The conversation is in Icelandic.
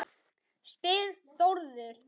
spyr Þórður